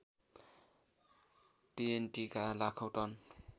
टिएनटिका लाखौँ टन